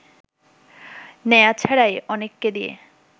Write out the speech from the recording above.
নেয়া ছাড়াই অনেককে দিয়ে